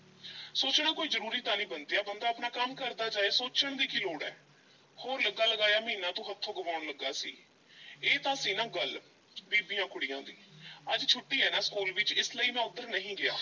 ਸੋਚਣਾ ਕੋਈ ਜ਼ਰੂਰੀ ਤਾਂ ਨਹੀਂ ਬੰਤਿਆ ਬੰਦਾ ਆਪਣਾ ਕੰਮ ਕਰਦਾ ਜਾਏ ਸੋਚਣ ਦੀ ਕੀ ਲੋੜ ਐ? ਹੋਰ ਲੱਗਾ-ਲਗਾਇਆ ਮਹੀਨਾ ਤੂੰ ਹੱਥੋਂ ਗਵਾਉਣ ਲੱਗਾ ਸੀ, ਇਹ ਤਾਂ ਸੀ ਨਾ ਗੱਲ ਬੀਬੀਆਂ ਕੁੜੀਆਂ ਦੀ ਅੱਜ ਛੁੱਟੀ ਐ ਨਾ ਸਕੂਲ ਵਿੱਚ ਇਸ ਲਈ ਮੈਂ ਉੱਧਰ ਨਹੀਂ ਗਿਆ।